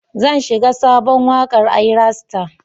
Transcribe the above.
Zan shiga sabon wakar Ayra star.